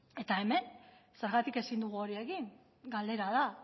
eta hemen zergatik ezin dugu hori egin galdera da